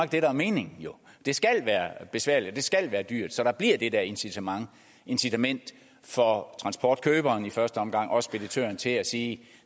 det der er meningen det skal være besværligt det skal være dyrt så der bliver det der incitament incitament for transportkøberen i første omgang og speditøren til at sige